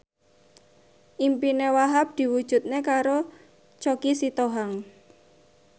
impine Wahhab diwujudke karo Choky Sitohang